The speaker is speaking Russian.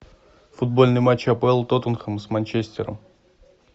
футбольный матч апл тоттенхэм с манчестером